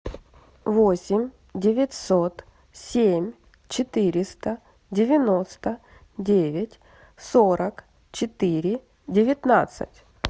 восемь девятьсот семь четыреста девяносто девять сорок четыре девятнадцать